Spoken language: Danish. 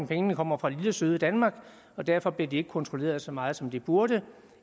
pengene kommer fra lille søde danmark og derfor ikke bliver kontrolleret så meget som de burde